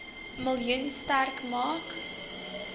miljoen sterk maak